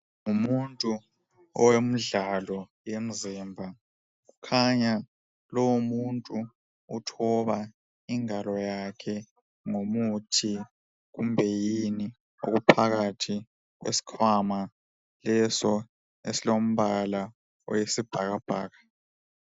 Ngumuntu owemidlalo yemzimba kukhanya lowo muntu uthoba ingalo yakhe ngomuthi kumbe yini okuphakathi kwesikhwama leso esilombala oyisibhakabhaka.